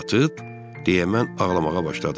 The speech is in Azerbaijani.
Satıb deyə mən ağlamağa başladım.